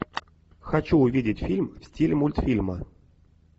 хочу увидеть фильм в стиле мультфильма